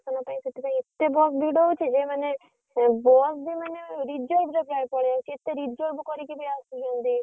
ସେଥିପାଇଁ ଏତେ ଭିଡ ହଉଛି ଯେ କେତେ reserve କରିକି ବି ଆସୁଛନ୍ତି ଆରଡିରୁ।